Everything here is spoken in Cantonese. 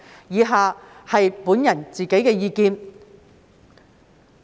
以下是我的個人意見。